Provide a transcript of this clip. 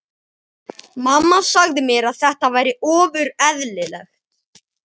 Mamma sagði mér að þetta væri ofur eðlilegt.